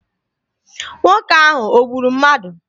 Nwoke ahụ o gburu mmadụ?